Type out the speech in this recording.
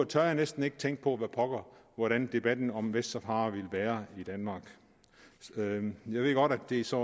tør jeg næsten ikke tænke på hvordan debatten om vestsahara ville være i danmark jeg ved godt at det så